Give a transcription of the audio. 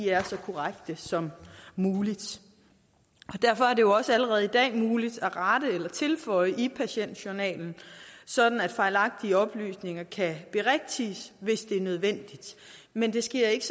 er så korrekte som muligt derfor er det også allerede i dag muligt at rette eller tilføje i patientjournalen så fejlagtige oplysninger kan berigtiges hvis det er nødvendigt men det sker ikke